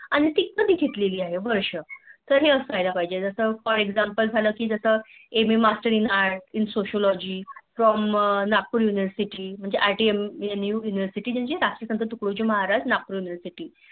आणि ती कधि घेतली आहे वर्ष तर हे सायाळ पाहिजे जसा For Example झालं कि MM master in Art in socialogy from Rt University म्हणजे राजी पँट महाराज नागपूर University